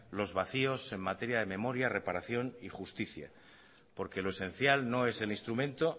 los vacios en materia de memoria reparación y justicia porque lo esencial no es el instrumento